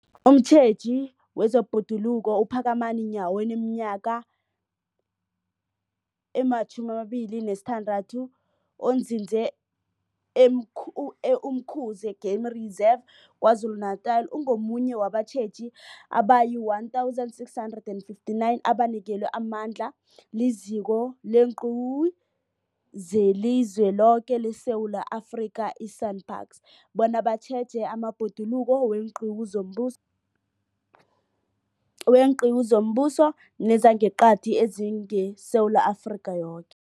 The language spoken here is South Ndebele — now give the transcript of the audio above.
Umtjheji wezeBhoduluko uPhakamani Nyawo oneminyaka ema-26, onzinze e-Umkhuze Game Reserve KwaZulu-Natala, ungomunye wabatjheji abayi-1 659 abanikelwe amandla liZiko leenQiwu zeliZweloke leSewula Afrika, i-SANParks, bona batjheje amabhoduluko weenqiwu zombus, weenqiwu zombuso nezangeqadi ezingeSewula Afrika yoke.